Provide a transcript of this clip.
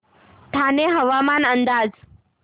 ठाणे हवामान अंदाज